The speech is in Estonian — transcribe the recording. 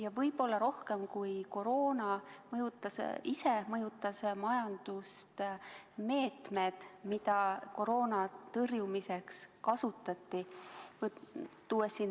Ja võib-olla rohkem kui koroona, mõjutasid majandust meetmed, mida koroona tõrjumiseks kasutati.